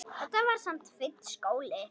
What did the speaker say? Þetta var samt fínn skóli.